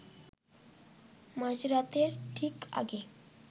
মাঝরাতের ঠিক আগে